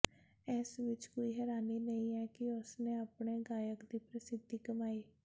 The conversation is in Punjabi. ਇਸ ਵਿਚ ਕੋਈ ਹੈਰਾਨੀ ਨਹੀਂ ਕਿ ਉਸ ਨੇ ਆਪਣੇ ਗਾਇਕ ਦੀ ਪ੍ਰਸਿੱਧੀ ਕਮਾਈ